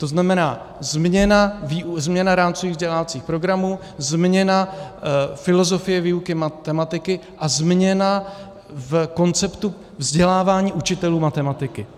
To znamená změna rámcových vzdělávacích programů, změna filozofie výuky matematiky a změna v konceptu vzdělávání učitelů matematiky.